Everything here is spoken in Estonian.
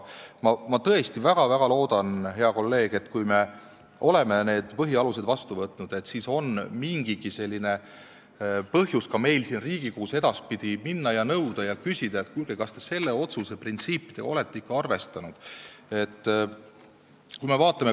Ma tõesti väga-väga loodan, hea kolleeg, et kui me oleme need põhialused vastu võtnud, siis on mingigi põhjus ka meil siin Riigikogus edaspidi nõuda ja küsida, et kuulge, kas te selle otsuse printsiipe olete ikka arvestanud.